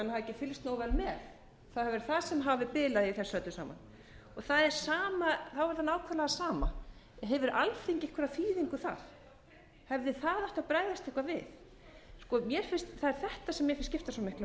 ekki fylgst nógu vel með það hafi verið það sem hafi bilað í þessu eru sama þá er það nákvæmlega sama hefur alþingi einhverja þýðingu þar hefði það átt að bregðast eitthvað við það er þetta sem mér finnst skipta svo miklu